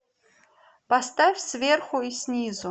поставь сверху и снизу